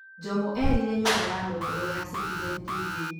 Njomo erire nyũmba ya mohoro ya Citizen TV